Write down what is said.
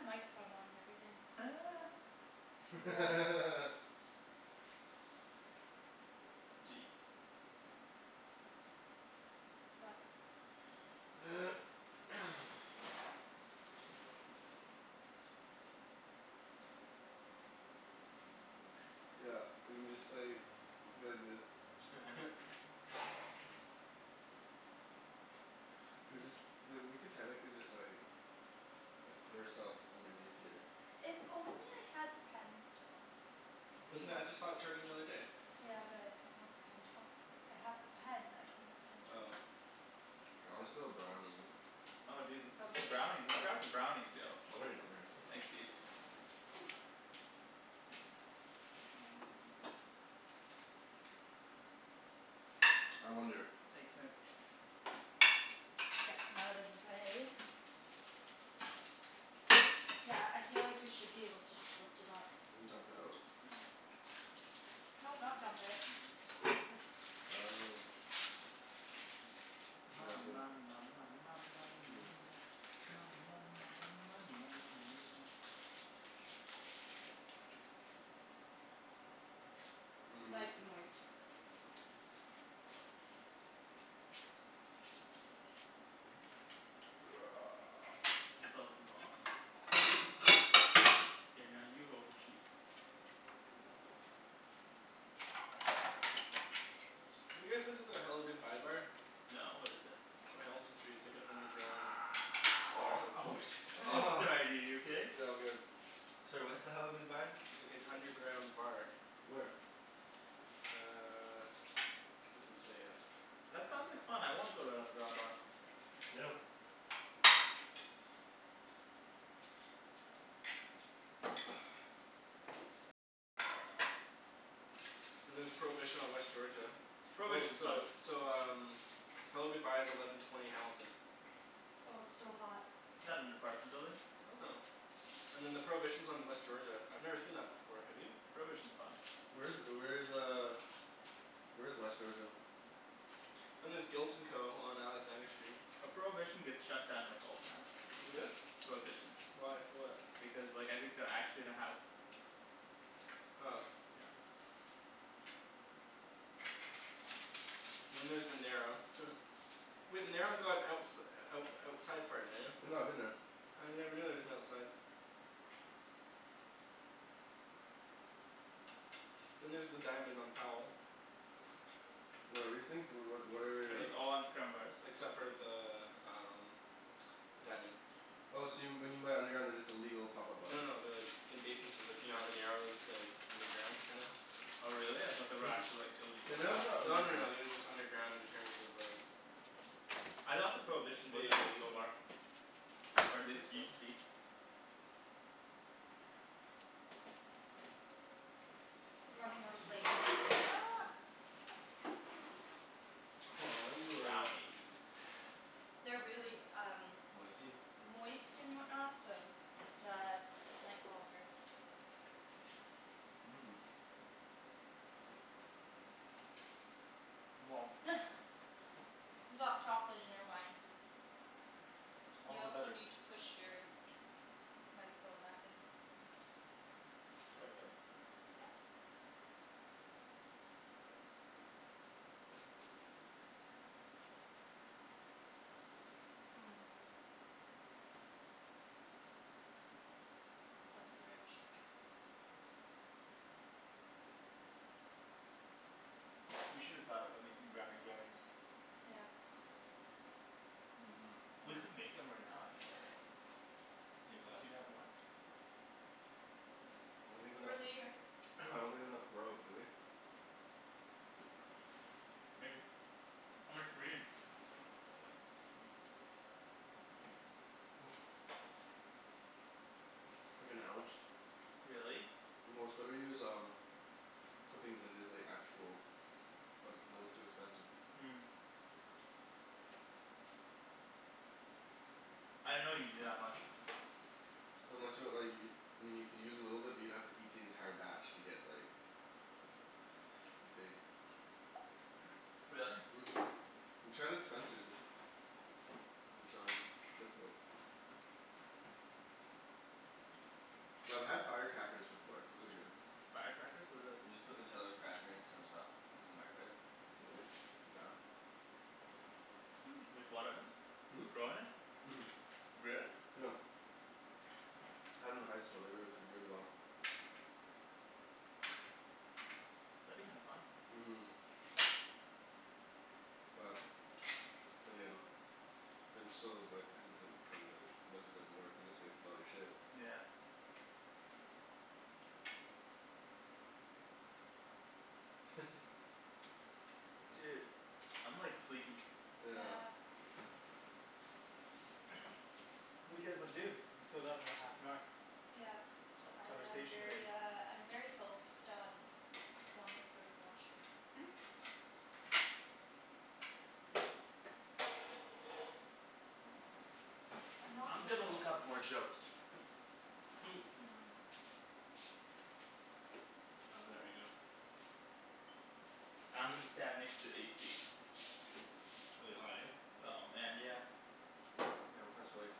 microphone on and everything. I'd be like What? Yeah, we can just like go like this. Chill. We could just like, we could technically just like like put ourself underneath here. If only I had the pen still. Wasn't that, I just saw it charging the other day. Yeah but I don't have the pen top. I have the pen, I don't have the pen Oh. top. I wanna steal a brownie. Oh dude let's have some brownies. Let's have some brownies, yo. Oh Ryan over here. Thanks dude. And I wonder Thanks Nikks. Get them out of the way. Yeah, I feel like we should be able to just lift it up. And dump it out? No, not dump it. Just go like this. Oh Ma Lovely. ma ma ma ma ma ma ma mia ma ma ma ma ma ma ma ma mia. Mhm. Nice and moist. It felt wrong. Here now you hold the sheep. Have you guys been to the Hello Goodbye Bar? No, what is it? On Hamilton Street. It's like an underground bar, it looks Oh like. shi- Sorry dude, are you okay? Yeah, I'm good. Sorry, what's the Hello Goodbye? Like an underground bar. Where? Uh, it doesn't say yet. That sounds like fun, I wanna go to an underground bar. Yeah. And there's Prohibition on West Georgia. Oh, Prohibition's fun. so so um Hello Goodbye is eleven twenty Hamilton. Well it's still hot. Isn't that an apartment building? I don't know. And then the Prohibition is on West Georgia. I've never seen that before, have you? Prohibition's fun. Where is where is uh where is West Georgia? And there's Guilt and Co. on Alexander Street. Well Prohibition gets shut down like all the time. Who does? Prohibition. Why? For what? Because like I think they're actually in a house. Oh. Yeah. Then there's The Narrow Wait The Narrow's got outs- out outside part, Daniel. I know, I've been there. I never knew there was an outside. Then there's the Diamond on Powell. What are these things? What what what Are are Like these all underground bars? except for the um The Diamond. Oh so when you meant underground, they're just illegal pop up No bars no no they're like in basementses. Like you know how the Narrow is like underground, kinda? Oh really? I thought they were actually like illegal The Narrow's pot not bars. Oh no no underground. no they're just underground in terms of like I thought the Prohibition was They an like it's illegal an bar. Or at I least think it so. used to be. We're running out of plates. Aw yeah. Brownies. They're really um Moisty? moist and whatnot, so it's uh might fall apart. Mmm. You got chocolate in your wine. All You the also better. need to push your microphone back in. Oopsie. Is this the right way? Yeah. Yep. That's rich. We should've thought about making brownie brownies. Yeah. Mhm. We could make 'em right now actually. Make what? Do you have more? I don't have For enough, later. I don't have enough grow, do we? Maybe. How much do we need? Like an ounce. Really? Well it's better to use um clippings than it is like actual, cuz then it's too expensive. I didn't know you needed that much. Unless you want like y- I mean you could use a little bit but you'd have to eat the entire batch to get like get baked. Really? Mhm. We tried at Spencer's. It was um difficult. Yo I've had firecrackers before. Those are good. Firecrackers? What are those? You just put Nutella cracker and some stuff in the microwave. Two minutes. Done. With what in it? Hmm? With grow in it? Mhm. Really? Yep. Had 'em in high school, they worked really well. That'd be kinda fun. Mhm. Well, then again I'm so like hesitant, cuz I'm like what if it doesn't work? You just wasted all your shit. Yeah. Dude, I'm like sleepy. Yeah. Yeah. What do you guys wanna do? We still got another half an hour. Yeah. Of I am conversation to make. very uh I'm very focused on wanting to go to the washroom. I'm not I'm good gonna when look it up more jokes. I'll do that right now. I'm gonna stand next to the AC. It's really hot, eh? Oh man, yeah. Yeah, I'm kinda sweaty.